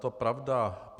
To pravda je.